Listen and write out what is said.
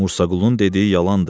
Mursa Qulunun dediyi yalandır.